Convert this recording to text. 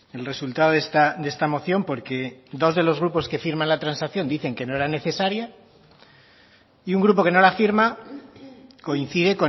el resultado de esta moción porque dos de los grupos que firman la transacción dicen que no era necesaria y un grupo que no la firma coincide